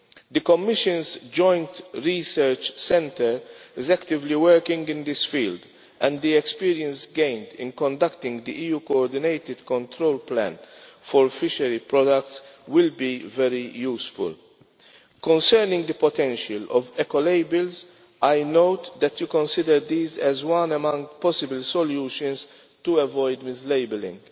The Commission's Joint Research Centre is actively working in this field, and the experience gained in conducting the EU coordinated control plan for fishery products will be very useful. Concerning the potential of Eco labels, I note that you consider these as one among possible solutions to avoid mislabelling,